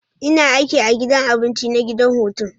Ina aiki a gidan abinci na gidan hutun.